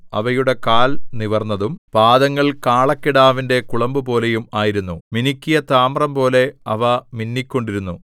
അവയുടെ കാൽ നിവർന്നതും പാദങ്ങൾ കാളക്കിടാവിന്റെ കുളമ്പുപോലെയും ആയിരുന്നു മിനുക്കിയ താമ്രംപോലെ അവ മിന്നിക്കൊണ്ടിരുന്നു